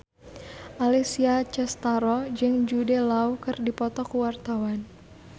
Alessia Cestaro jeung Jude Law keur dipoto ku wartawan